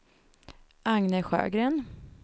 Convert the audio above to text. Agne Sjögren